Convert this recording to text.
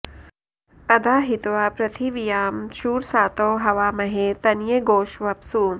अधा॒ हि त्वा॑ पृथि॒व्यां शूर॑सातौ॒ हवा॑महे॒ तन॑ये॒ गोष्व॒प्सु